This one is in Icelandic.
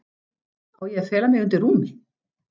Á ég að fela mig undir rúmi?